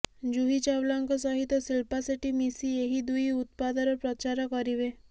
ଜୁହି ଚାଓ୍ବଲାଙ୍କ ସହିତ ଶିଳ୍ପା ସେଟ୍ଟି ମିଶି ଏହି ଦୁଇ ଉତ୍ପାଦର ପ୍ରଚାର କରିବେ